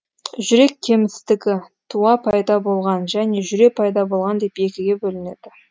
жүрек кемістігі туа пайда болған және жүре пайда болған деп екіге бөлінеді